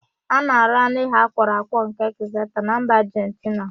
A na-arụ anụ ehi akwọrọ akwọ nke ekzeta na mba Ajentina.